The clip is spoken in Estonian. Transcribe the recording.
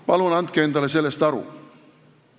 Palun andke endale sellest aru!